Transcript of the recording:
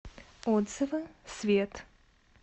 отзывы свет